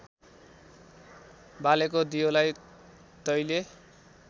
बालेको दियोलाई तैले